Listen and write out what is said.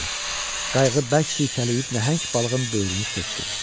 Qayıq bərk sirkələyib nəhəng balığın böyrünü söxdü.